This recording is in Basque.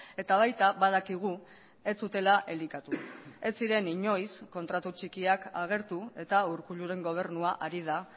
eta baita badakigu ez zutela elikatu ez ziren inoiz kontratu txikiak agertu eta urkulluren gobernua ari da